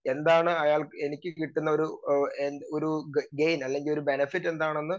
speaker 2 എന്താണ് അയാ എനിക്ക് കിട്ടുന്നൊരു അഹ് ഒരു ഗെയിൻ അല്ലെങ്കി ഒരു ബെനഫിറ്റ് എന്താണെന്ന്